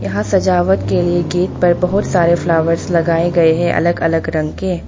यहां सजावट के लिए गेट पर बहोत सारे फ्लावर्स लगाए गए हैं अलग अलग रंग के।